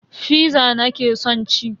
Fiza nake son ci.